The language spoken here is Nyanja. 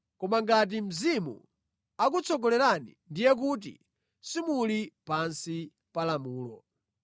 Koma ngati Mzimu akutsogolerani, ndiye kuti simuli pansi pa lamulo.